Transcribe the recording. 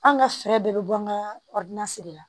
An ka fɛɛrɛ bɛɛ bɛ bɔ an ka la